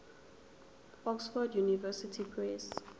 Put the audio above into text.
oxford university press